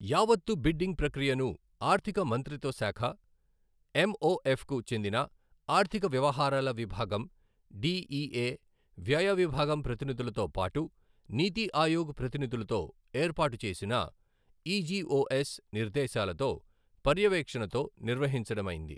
యావత్తు బిడ్డింగ్ ప్రక్రియను ఆర్థిక మంత్రిత్వ శాఖ ఎంఒఎఫ్కు చెందిన ఆర్థిక వ్యవహారాల విభాగం డిఇఎ, వ్యయ విభాగం ప్రతినిధులతో పాటు నీతి ఆయోగ్ ప్రతినిధులతో ఏర్పాటు చేసిన ఇజిఒఎస్ నిర్దేశాలతో, పర్యవేక్షణతో నిర్వహించడమైంది.